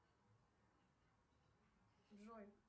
джой